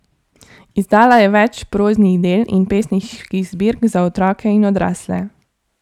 Izdala je več proznih del in pesniških zbirk za otroke in odrasle.